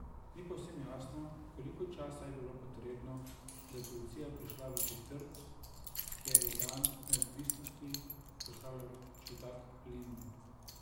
Ni povsem jasno, koliko časa je bilo potrebno, da je policija prišla v četrt, kjer je dan neodvisnosti proslavljal čudak Lind.